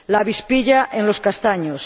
la avispilla, en los castaños